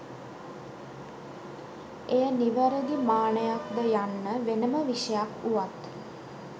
එය නිවැරදි මානයක් ද යන්න වෙනම විෂයක් වුවත්